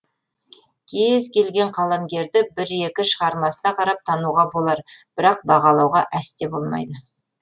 кез келген қаламгерді бір екі шығармасына қарап тануға болар бірақ бағалауға әсте болмайды